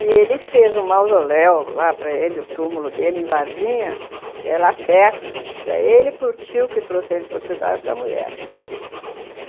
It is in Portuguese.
E ele fez um mausoléu lá para ele, o túmulo dele em Varginha, que é lá perto, para ele e para o tio que trouxe ele de Portugal e para mulher.